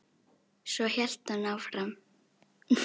Örn sleppti Gerði og opnaði.